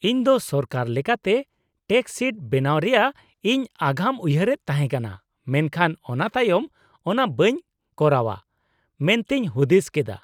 -ᱤᱧ ᱫᱚ ᱥᱚᱨᱠᱟᱨ ᱞᱮᱠᱟᱛᱮ ᱴᱮᱠᱥ ᱥᱤᱴ ᱵᱮᱱᱟᱣ ᱨᱮᱭᱟᱜ ᱤᱧ ᱟᱜᱟᱢ ᱩᱭᱦᱟᱹᱨᱮᱫ ᱛᱟᱦᱮᱸᱠᱟᱱᱟ ᱢᱮᱱᱠᱷᱟᱱ ᱚᱱᱟᱛᱟᱭᱚᱢ ᱚᱱᱟ ᱵᱟᱹᱧ ᱠᱚᱨᱟᱣᱟ ᱢᱮᱱᱛᱮᱧ ᱦᱩᱫᱤᱥ ᱠᱮᱫᱟ ᱾